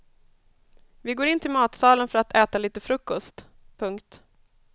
Vi går in till matsalen för att äta lite frukost. punkt